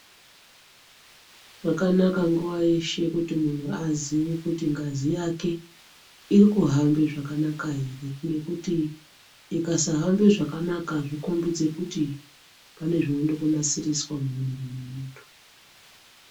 Zvakanaka nguwa yeshe kuti munthu aziye kuti ngazi yake iri kuhamba zvakanaka ere ngekuti ikasahamba zvakanaka azvikombidzi kuti pane zvinoda kunasiriswa mumwiri mwenthu.